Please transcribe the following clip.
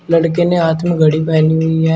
लड़के ने हाथ में घड़ी पहनी हुई है।